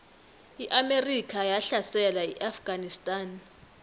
iamerika yahlasela iafganistan